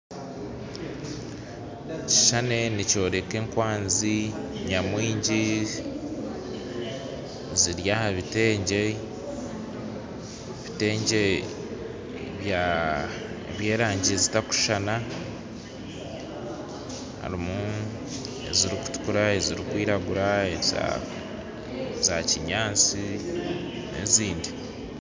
Ekishushani nikyoreka ekwanzi nyamwingi ziri aha bitengye by'erangi zitakushushana harimu ezirikutukura, ezirikwiragura, eza kinyansti n'ezindi.